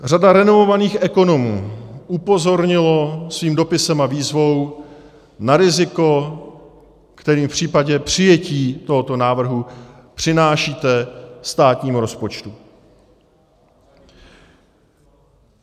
Řada renomovaných ekonomů upozornila svým dopisem a výzvou na riziko, které v případě přijetí tohoto návrhu přinášíte státnímu rozpočtu.